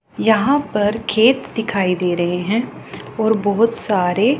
यहां पर खेत दिखाई दे रहे है और बहोत सारे।